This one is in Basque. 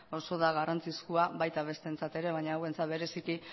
oso da garrantzizkoa baita bestentzat ere baina hauentzat bereziki